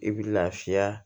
I bi lafiya